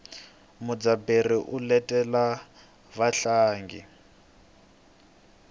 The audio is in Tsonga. mudzaberi u letela vatlangi